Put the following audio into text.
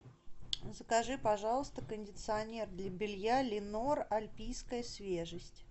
закажи пожалуйста кондиционер для белья ленор альпийская свежесть